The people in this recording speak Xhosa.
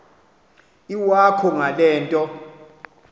iwakho ngale nto